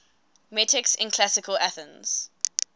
metics in classical athens